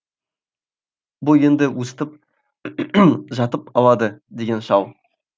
бұл енді өстіп жатып алады деген шал